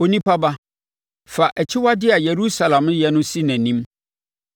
“Onipa ba, fa akyiwadeɛ a Yerusalem yɛ no si nʼanim